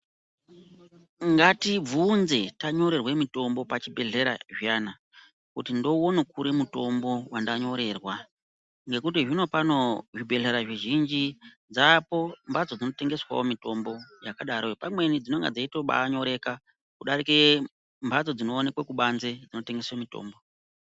Ngatibvunze tanyorerwe mutombo pachibhehleya zviyana kuti ndouone kuri mutombo wandanyorerwa ngokuti zvinopano zvibhehlera zvizhinji dzapo mbatso dzinotengeswawo mitombo yakadaroyo pamweni dzinonga dzeibaatonyoreka kudarike mbatso dzinoonekwe kubanzi dzinotengese mutombo.